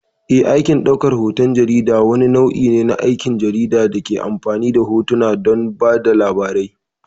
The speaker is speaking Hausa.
Eh, aikin ɗaukar hoton jarida wani nau'i ne na aikin jarida da ke amfani da hotuna don ba da labari.